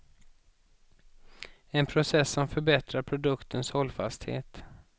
En process som förbättrar produktens hållfasthet.